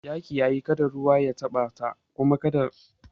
Ya kiyaye kada ruwa ya taɓa ta kuma kada yaran nan su taba suma